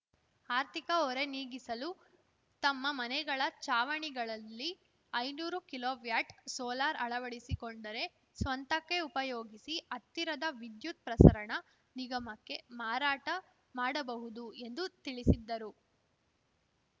ಆರ್ಥಿಕ ಹೊರೆ ನೀಗಿಸಲು ತಮ್ಮ ಮನೆಗಳ ಚಾವಣಿಗಳಲ್ಲಿ ಐನೂರು ಕಿಲೋವ್ಯಾಟ್‌ ಸೋಲಾರ್‌ ಅಳವಡಿಸಿಕೊಂಡರೆ ಸ್ವಂತಕ್ಕೆ ಉಪಯೋಗಿಸಿ ಹತ್ತಿರದ ವಿದ್ಯುತ ಪ್ರಸರಣ ನಿಗಮಕ್ಕೆ ಮಾರಾಟ ಮಾಡಬಹುದು ಎಂದು ತಿಳಿಸಿದರು